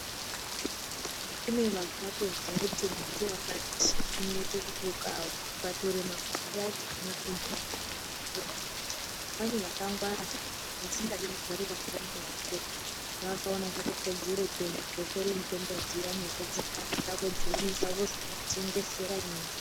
Pane vakatozwa kuti muti wakati unoita kwatura mapande achona unoita kuti mwe, pane vakangwara vakaona zvakakodzera kuenda kotora mitombo dziya vapedza vodzigadzira vozotengesera imwimwi.